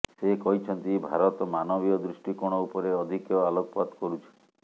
ସେ କହିଛନ୍ତି ଭାରତ ମାନବୀୟ ଦୃଷ୍ଟିକୋଣ ଉପରେ ଅଧିକ ଆଲୋକପାତ କରୁଛି